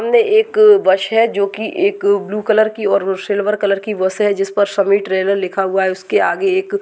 सामने एक बस है जो की एक ब्लू कलर की और सिल्वर कलर की बस है जिस पर समीर ट्रॅव्हल लिखा हुआ है उसके आगे एक--